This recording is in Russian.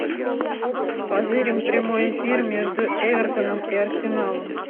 позырим прямой эфир между эвертоном и арсеналом